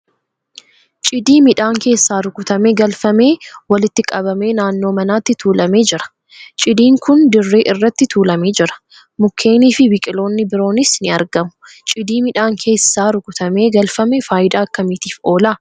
Cidii midhaan keessaa rukutamee galfame walitti qabamee naannoo manaatti tuulamee jira. Cidiin kun dirree irratti tuulamee jira. Mukkeeniifi biqiloonni biroonis ni argamu. Cidii midhaan keessaa rukutamee galfame faayidaa akkamiitiif oola?